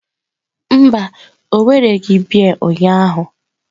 Mba, o wereghị biya ụnyahụ.